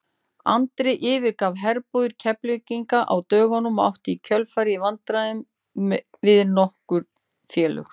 Andri yfirgaf herbúðir Keflvíkinga á dögunum og átti í kjölfarið í viðræðum við nokkur félög.